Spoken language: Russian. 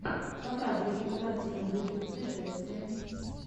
показывай кинокартину в духе путешествия